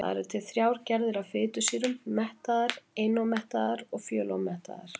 Þannig eru til þrjár gerðir af fitusýrum: mettaðar, einómettaðar og fjölómettaðar.